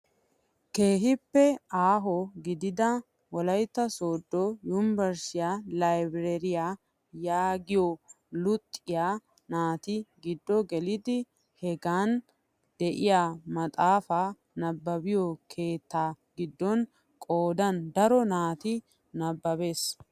Keehippe aaho gidida wolaytta sooddo yunburushiyaa laybereeriyaa yaagiyoo luxiyaa naati giddo gelidi hegan de'iyaa maxaafaa nababiyoo keettaa giddon qoodan daro naati nababees.